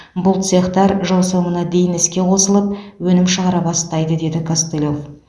бұл цехтар жыл соңына дейін іске қосылып өнім шығара бастайды дейді костылев